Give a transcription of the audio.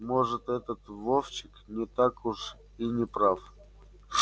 может этот вовчик не так уж и не прав